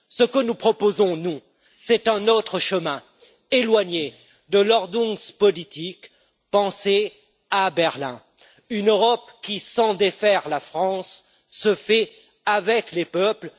Ce que nous proposons, c'est un autre chemin éloigné de l' Ordnungspolitik pensée à Berlin, c'est une Europe qui, sans défaire la France, se fait avec les peuples.